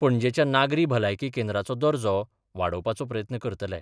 पणजेच्या नागरी भलायकी केंद्राचो दर्जो वाडोवपाचो प्रयत्न करतले.